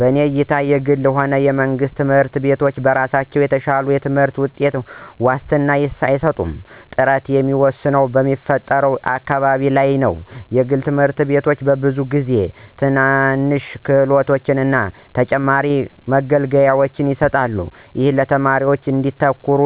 በእኔ እይታ የግልም ሆነ የመንግስት ትምህርት ቤቶች በራሳቸው የተሻለ የትምህርት ውጤት ዋስትና አይሰጡም። ጥራቱ የሚወሰነው በሚፈጥሩት አካባቢ ላይ ነው. የግል ትምህርት ቤቶች ብዙውን ጊዜ ትናንሽ ክፍሎችን እና ተጨማሪ መገልገያዎችን ይሰጣሉ, ይህም ተማሪዎች እንዲያተኩሩ